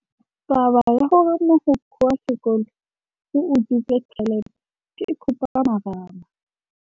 Taba ya gore mogokgo wa sekolo o utswitse tšhelete ke khupamarama.